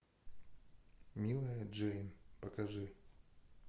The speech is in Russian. милая джейн покажи